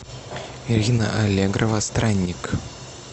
ирина аллегрова странник